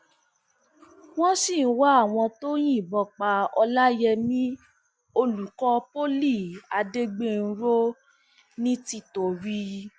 wọn sì ń wá àwọn tó yìnbọn pa ọlàyẹmí olùkọ poli adégbènrò nìtìtorí